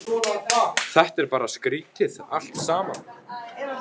Þetta er bara skrítið allt saman.